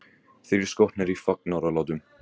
Þrír skotnir í fagnaðarlátum